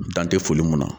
Dan tɛ foli mun na